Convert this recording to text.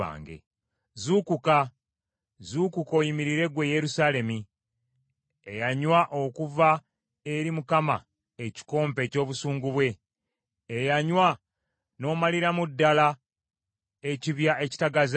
Zuukuka, zuukuka, oyimirire ggwe Yerusaalemi eyanywa okuva eri Mukama ekikompe eky’obusungu bwe, eyanywa n’omaliramu ddala ekibya ekitagaza.